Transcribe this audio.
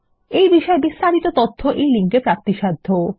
এই বিষয় বিস্তারিত তথ্য এই লিঙ্ক এ প্রাপ্তিসাধ্য